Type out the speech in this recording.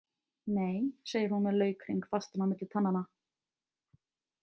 Nei, segir hún með laukhring fastan á milli tannanna.